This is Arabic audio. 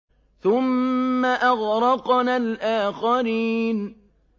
ثُمَّ أَغْرَقْنَا الْآخَرِينَ